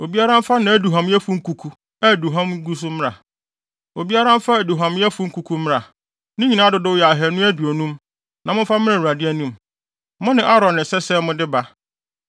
Obiara mfa nʼaduhuamyɛfo nkuku a aduhuam gu so mmra. Obiara mfa aduhuamyɛfo kuku mmra. Ne nyinaa dodow yɛ ahannu aduonum; na momfa mmra Awurade anim. Mo ne Aaron na ɛsɛ sɛ mode ba.”